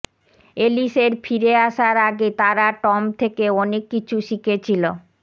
এলিসের ফিরে আসার আগে তারা টম থেকে অনেক কিছু শিখেছিল